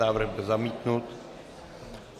Návrh byl zamítnut.